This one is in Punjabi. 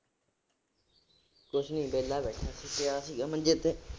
ਕੁਛ ਨੀ ਵਿਹਲਾ ਬੈਠਾ ਸੀ, ਪਿਆ ਸੀਗਾ ਮੰਜੇ ਤੇ।